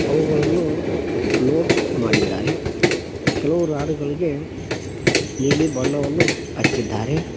ಅವುಗಳನ್ನು ಲೋಡ್ ಮಾಡಿದ್ದಾರೆ ಕೆಲವು ರಾಡ್ ಗಳಿಗೆ ನೀಲಿ ಬಣ್ಣವನ್ನು ಹಚ್ಚಿದ್ದಾರೆ.